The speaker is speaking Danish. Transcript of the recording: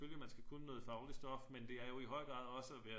Selvfølgelig man skal kunne noget fagligt stof men det er jo i høj grad også at være